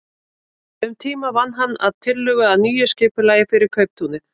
Um tíma vann hann að tillögu að nýju skipulagi fyrir kauptúnið.